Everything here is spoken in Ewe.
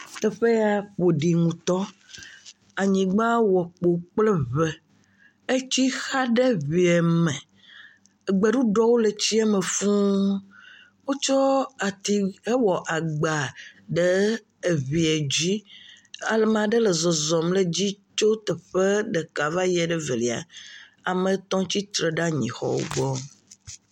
Teƒe ya ƒo ɖi ŋutɔ, anyigba wɔ kpo kple ŋe, etsi xa ɖe ŋee me, gbeɖuɖɔwo le tsie me fuu. Wotsɔ ati hwɔ agba ɖe eŋee dzi, amea ɖe le zɔzɔm ɖe dzi tso teƒe ɖeka va yie ɖe evelia. Ame etɔ̃ tsitre ɖe anyixɔwo gbɔ.